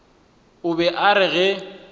o be a re ge